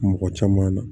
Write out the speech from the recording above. Mɔgɔ caman na